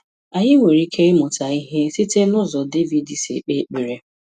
Anyị nwere ike ịmụta ihe site n'ụzọ David si ekpe ekpere.